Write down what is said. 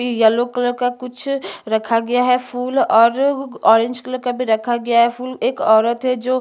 yellow colour का कुछ रखा गया है फूल और ऑरेंज कलर का भी रखा गया है फूल एक औरत है जो--